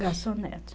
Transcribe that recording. Garçonete.